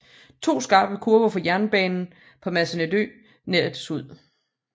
To skarpe kurver for jernbanen på Masnedø rettes ud